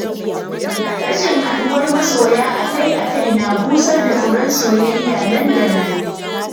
Rashin haɗuwar masoya a-kai-a-kai na busar da furen soyayya nan da nan.